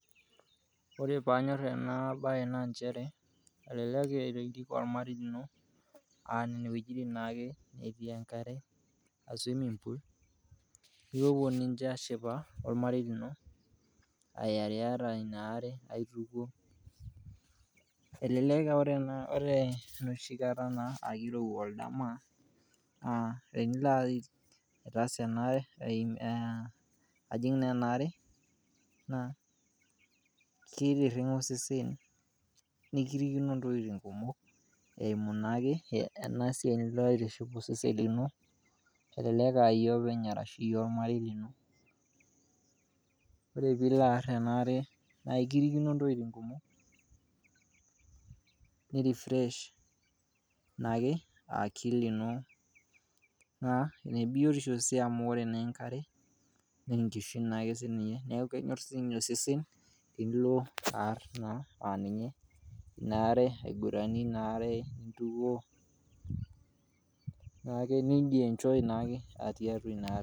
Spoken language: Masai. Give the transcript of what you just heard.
Ore paanyorr ena baye naa inchere elelek irik ormarei lino ine wejitin naake netii enkare ss swimming pool nipopo ninche aashipa ormarei lino irai'arra inaare aituko, elelek aa ore neshi nkata naa keirowua oldama tenilo aitaas anaare, ajing' anaare naa keitiring'a osesen, nikirikino intokitin kumok eimu naake ena siaai nidol eitiship osesen lino, elelek aaiye openy arashu iye ormarei lino, ore piilo aarr anaare naa ekirikino ntokitin kumok neirefresh naake akili ino ina biotisho sii amu ore naa enkare naaa enkishu naake sii ninye naaku kenyorr sii ninye osesen tinilo aarr naa ninye inaare aiguranie inaare intuko naake nijienjoy naake atii atua inaare.